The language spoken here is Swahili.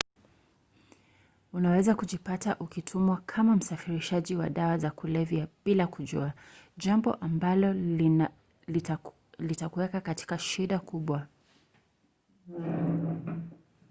unaweza kujipata ukitumiwa kama msafirishaji wa dawa za kulevya bila kujua jambo ambalo litakuweka katika shida kubwa